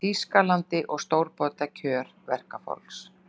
Þýskalandi og stórbæta kjör verkafólks.